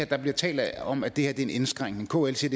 der bliver talt om at det her er en indskrænkning kl siger